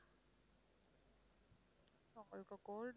இப்ப cold